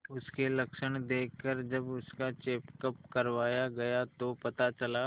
उसके लक्षण देखकरजब उसका चेकअप करवाया गया तो पता चला